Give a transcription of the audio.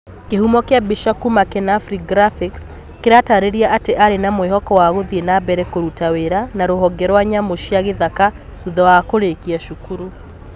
kĩhumo kia mbica kuma kenafri graphics kĩratarĩria atĩ Arĩ na mwĩhoko wa gũthiĩ na mbere kũruta wĩra na rũhonge rwa nyamũ cia gĩthaka thutha wa kũrĩkia cukuru.